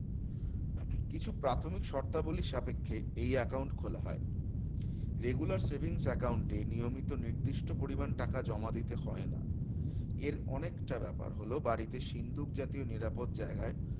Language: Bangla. কিছু প্রাথমিক শর্তাবলীর সাপেক্ষে এই account খোলা হয় regular savings account এ নিয়মিত নির্দিষ্ট পরিমান টাকা জমা দিতে হয় না এর অনেকটা ব্যাপার হল বাড়িতে সিন্দুক জাতীয় নিরাপদ জায়গায়